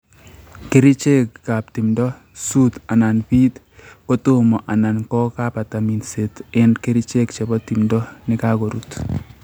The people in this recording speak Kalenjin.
Kerichekab timdo: Suut/piit kotomo anan kogabata minset en kerichek chebo timdo nekagorut